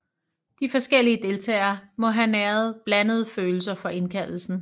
De forskellige deltagere må have næret blandede følelser for indkaldelsen